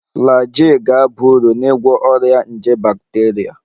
Flagyl ga-aba uru n'ịgwọ ọrịa nje bakteria